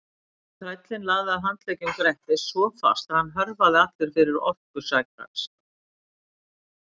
En þrællinn lagði að handleggjum Grettis svo fast að hann hörfaði allur fyrir orku sakar.